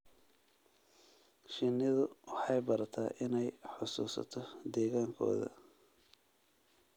Shinnidu waxay barataa inay xasuusato deegaankooda.